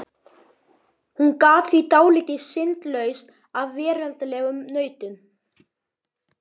Hún gat því dáið syndlaus af veraldlegum nautnum.